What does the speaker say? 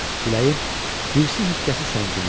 Küləyin hirsi, hikkəsi səngimişdi.